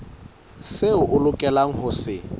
seo o lokelang ho se